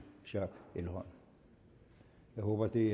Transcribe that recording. schack elholm jeg håber at det